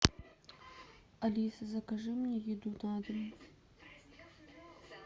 алиса закажи мне еду на дом